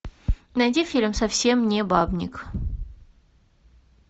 найди фильм совсем не бабник